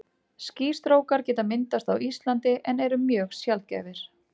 Skýstrókar geta myndast á Íslandi en eru mjög sjaldgæfir.